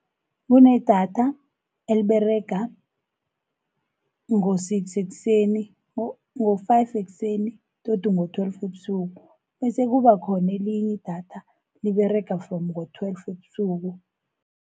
Kunedatha eliberega ngo-five ekuseni tot ngo-twelve ebusuku, bese kubakhona elinye idatha liberega from ngo-twelve ebusuku.